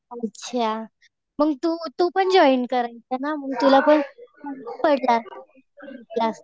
अच्छा. मग तू तू पण जॉईन कर है ना मग तुला पण पडलं असतं